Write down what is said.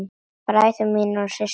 Bræður mínir og systur.